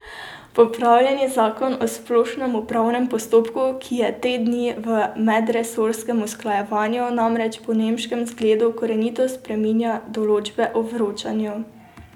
Popravljeni zakon o splošnem upravnem postopku, ki je te dni v medresorskem usklajevanju, namreč po nemškem zgledu korenito spreminja določbe o vročanju.